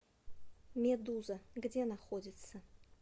медуза где находится